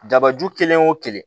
Dabaju kelen o kelen